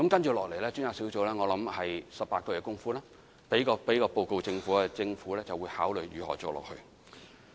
接下來專責小組在18個月後會提交報告予政府，讓政府考慮將來如何繼續工作。